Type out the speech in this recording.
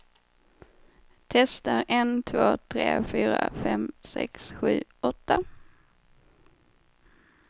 Testar en två tre fyra fem sex sju åtta.